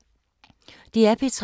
DR P3